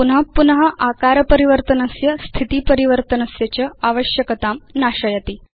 एतत् निरन्तरम् आकारपरिवर्तनस्य स्थितिपरिवरतनस्य च आवश्यकतां नाशयति